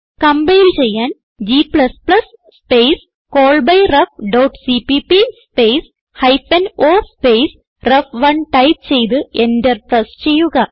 compile ചെയ്യാൻ g space callbyrefസിപിപി space hyphen o space റെഫ്1 ടൈപ്പ് ചെയ്ത് എന്റർ പ്രസ് ചെയ്യുക